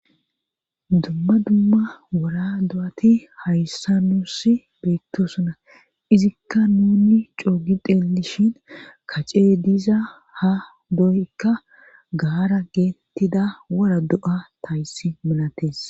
dumma dumma wora do7ati hayssa nus beettosuna izikka nunni coogi deelishin kace diza ha doykka gaara geetettida wora do7a tayssi milates